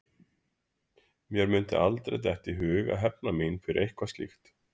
Mér mundi aldrei detta í hug að hefna mín fyrir eitthvað slíkt.